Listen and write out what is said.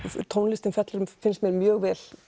tónlistin fellur finnst mér mjög vel